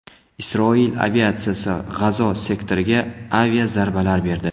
Isroil aviatsiyasi G‘azo sektoriga aviazarbalar berdi.